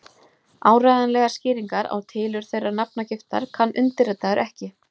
Í þessu felst eina skýra merkingin sem hægt er að gefa orðunum annar heimur.